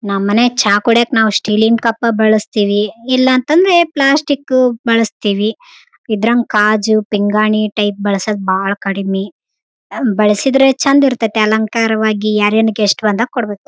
ನಮ್ಮನೆ ಚಾ ಕುಡೀಯಕ್ಕ್‌ ನಾವು ಸ್ಟೀಲಿನ್‌ ಕಪ್ಪ ಬಳಸ್ತೀವಿ ಇಲ್ಲಂತದ್ರೆ ಪ್ಲಾಸ್ಟಿಕ್‌ ಬಳಸ್ತೀವಿ ಇಲ್ಲಂದ್ರ ಕಾಜು ಪಿಂಗಾಣಿ ಟೈಪ್‌ ಬಳಸದ್‌ ಬಾಳ ಕಡಿಮೆ ಬಳಸಿದ್ರೆ ಚಂದ ಇರತ್ತ ಅಲಂಕಾರವಾಗಿ ಯಾರಾನ ಗೆಸ್ಟ್‌ ಬಂದಾಗ ಕೊಡ್ಬೇಕು.